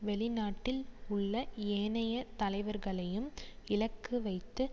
வெளிநாட்டில் உள்ள ஏனைய தலைவர்களையும் இலக்குவைத்து